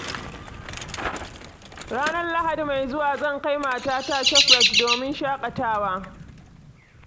Ranar Lahadi mai zuwa zan kai matata Shoprite domin shaƙawa.